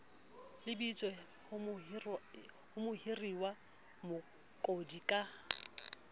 lebiswe ho mohiriwa mokodi ka